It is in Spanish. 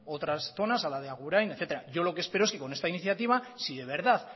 otras zonas a la de agurain etcétera yo lo que espero es que con esta iniciativa si de verdad